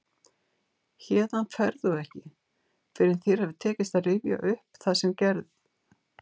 Héðan ferð þú ekki fyrr en þér hefur tekist að rifja upp það sem gerð